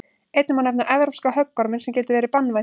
einnig má nefna evrópska höggorminn sem getur verið banvænn